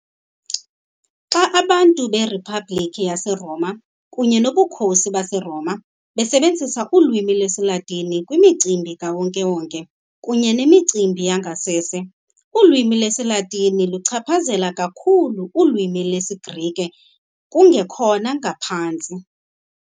Xa abantu beriphabliki yaseRoma kunye nobukhosi baseRoma basebenzisa ulwimi lwesiLatini kwimicimbi kawonke wonke kunye nemicimbi yangasese, ulwimi lwesiLatini lwaluchaphazela kakhulu ulwimi lwesiGrike, kungekhona ngaphantsi.